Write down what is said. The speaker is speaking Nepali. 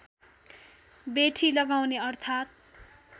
बेठी लगाउने अर्थात्